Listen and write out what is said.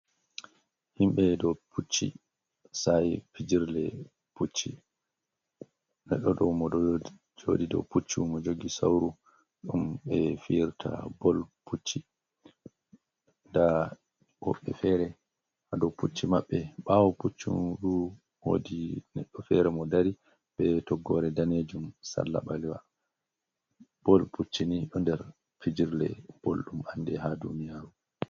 Himɓe ɗo pucci sa'i fijirle le pucci. Moɗo ɗo puccu mo jogi sauru ɗum ɓe fiyirta bol pucchi nda woɓɓe fere ha dou pucchi maɓɓe ɓawo puccu du mod neɗɗo fere mo dari be toggo re danejum salla balewa bol pucchi ni ɗo nder fijirle boldum ande ha duniyaru.